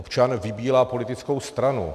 Občan vybírá politickou stranu.